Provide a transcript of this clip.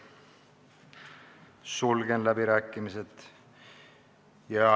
Sulgen läbirääkimised.